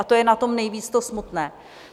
A to je na tom nejvíc to smutné.